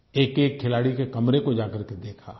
एकएक खिलाड़ी के कमरे को जाकर के देखा